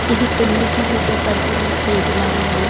ఇది పెళ్లికి సిద్ధపరిచిన స్టేజిలా ఉంది.